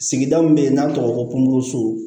Sigida min bɛ yen n'an tɔgɔ ko komuru su